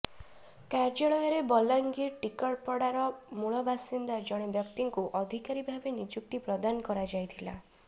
କାର୍ଯ୍ୟାଳୟରେ ବଲାଙ୍ଗୀର ଟିକରପଡାର ମୂଳ ବାସିନ୍ଦା ଜଣେ ବ୍ୟକ୍ତିଙ୍କୁ ଅଧିକାରୀ ଭାବେ ନିଯୁକ୍ତି ପ୍ରଦାନ କରାଯାଇଥିଲା